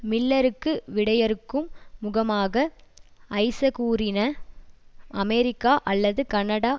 மில்லருக்கு விடையிறுக்கும் முகமாக ஐசக் கூறின அமெரிக்கா அல்லது கனடா